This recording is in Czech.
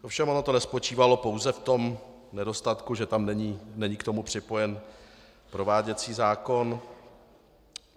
Ovšem ono to nespočívalo pouze v tom nedostatku, že tam není k tomu připojen prováděcí zákon.